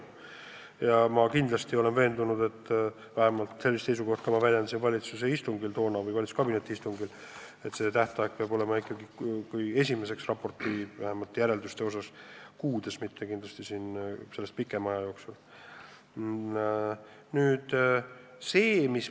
Just sellist seisukohta ma väljendasin tollel valitsuse istungil või valitsuskabineti istungil, samuti seda, et vähemalt esimesed raporti järeldused tuleb esitada mõne kuu pärast, mitte pikema aja pärast.